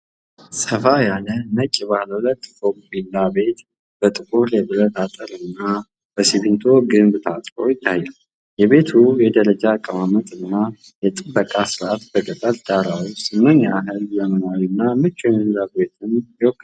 ሰፋ ያለ ነጭ ባለሁለት ፎቅ ቪላ ቤት በጥቁር የብረት አጥርና በሲሚንቶ ግንብ ታጥሮ ይታያል፤ የቤቱ የደረጃ አቀማመጥ እና የጥበቃ ሥርዓት በገጠር ዳራ ውስጥ ምን ያህል ዘመናዊና ምቹ የመኖሪያ ቦታን ይወክላል?